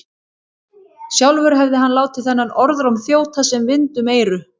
Sjálfur hefði hann látið þennan orðróm þjóta sem vind um eyru.